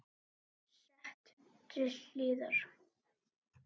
Sett til hliðar.